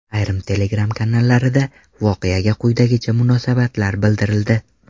Ayrim Telegram kanallarida voqeaga quyidagicha munosabatlar bildirildi.